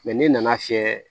n'i nana fiyɛ